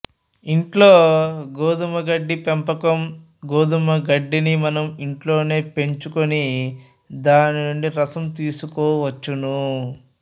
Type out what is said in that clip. ఇంట్లో గోధుమ గడ్డి పెంపకం గోధుమ గడ్డిని మనం ఇంట్లోనే పెంచు కుని దానినుండి రసం తీసుకోవచ్చును